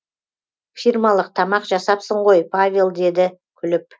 фирмалық тамақ жасапсың ғой павел деді күліп